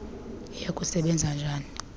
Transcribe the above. iya kusebenza njani